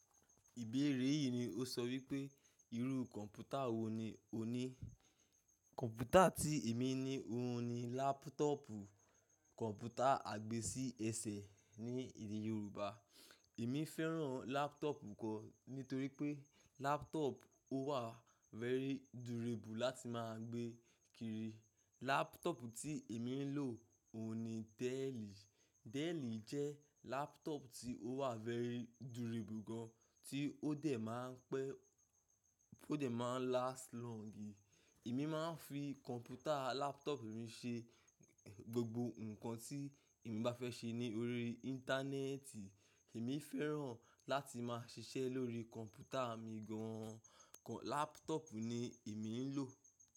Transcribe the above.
Ìbéèrè yìí ni ó sọ wípé, irú kọ̀ǹpútà wò ní o ní? Kọ̀ǹpútà tí èmi ní òhun ni lápútọ̀pù. Kọ̀ǹpútà àgbésí ẹsẹ̀ ní èdè Yorùbá. Èmi fẹ́ràn lápútọ̀pù gan nítorí pé lápútọ̀pù ó wà very durable láti máa gbé kiri. Lápútọ̀pù tí èmi ń lò òhun ni Dell. Dell jẹ́ lápútọ̀pù tí ó wà very durable gan, tí ó dẹ̀ máa ń pẹ́, ó dẹ̀ máa ń last longi. Èmi máa ń fi kọ̀ǹpútà lápútọ̀pù mi ṣe gbogbo ǹkan tí èmi bá fẹ́ ṣe ní orí Íńtánẹ́ẹ̀tì. Èmi fẹ́ràn láti máa ṣiṣẹ́ lórí kọ̀ǹpútà mi gan. Kọ̀-- lápútọ̀pù ni èmi ń lò.